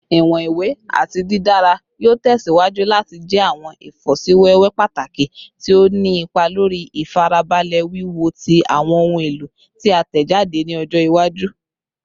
Iwọn iwe ati didara yoo tẹsiwaju lati jẹ awọn ifosiwewe pataki ti o ni ipa lori ifarabalẹ wiwo ti awọn ohun elo ti a tẹjade ni ọjọ iwaju